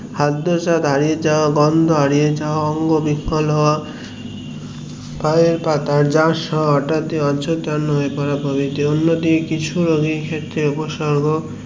খাদ্য সোর্ দাঁড়িয়ে যাওয়া গন্ধ হারিয়ে যাওয়া অঙ্গ বিকল হওয়া পায়ের পাতা যাস হওয়া হটাৎ অচেতন হয়ে পড়া অন্য দিকে